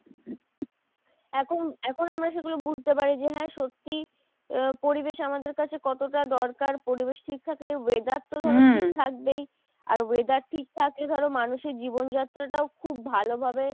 এখন এখন আমরা সেগুলো বুঝতে পারি যে হ্যাঁ সত্যি আহ পরিবেশ আমাদের কাছে কতটা দরকার, পরিবেশ ঠিক থাকলে weather তো ধরো ঠিক থাকবেই, আর weather ঠিক থাকলে ধরো মানুষের জীবন যাত্রাটাও খুব ভালো ভাবে